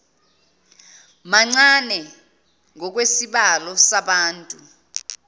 mancane ngokwesibalo sabantu